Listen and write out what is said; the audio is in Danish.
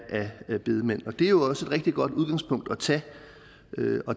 af bedemand og det er jo også et rigtig godt udgangspunkt at tage